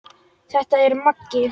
Þetta er Maggi!